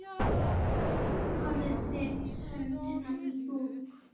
Hárið sítt, höndin mjúk.